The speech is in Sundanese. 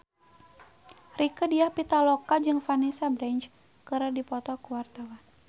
Rieke Diah Pitaloka jeung Vanessa Branch keur dipoto ku wartawan